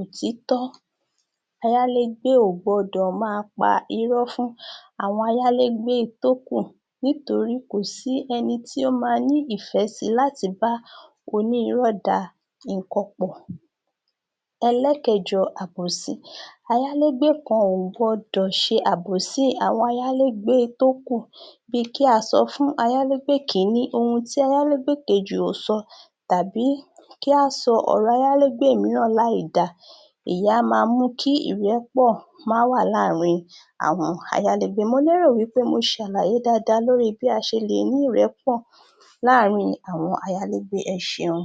òtítọ́, ayálégbé ò gbọ́dọ̀ máa pa irọ́ fún àwọn ayálégbé tókù nítorí kò sí ẹni tí ó máa nífẹ̀ẹ́ sí lati bá Onírọ́ da nǹkan pọ̀. Ẹlẹ́ẹ̀kẹjọ, Àbòsí Ayálégbé kan ò gbọ́dọ̀ ṣe àbòsí àwọn ayálégbé tó kù, bí i Kí á sọ fún ayálégbé kìíní, ohun tí ayálégbé kejì ò sọ tàbí kí a sọ ọ̀rọ̀ ayálégbé mìíràn ní àìda ìyẹn á máa mú kí ìrẹ́pọ̀ má wà láàárin àwọn ayálégbé mọ lérò wí pé mo ṣàlàyé dáadáa lórí bí a ṣe lè ní ìrẹ́pọ̀ láàárin àwọn ayálégbé. Ẹ ṣeun.